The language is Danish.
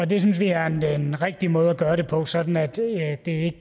det synes vi er den rigtige måde at gøre det på sådan at det